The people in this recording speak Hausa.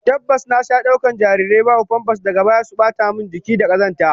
Tabbas, na sha daukar jarirai babu famfas, daga baya suzo su bata min jiki na da kazanta